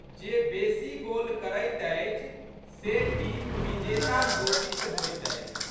जे बेशी गोल करैत अछि से टीम विजेता घोषित होइत अछि।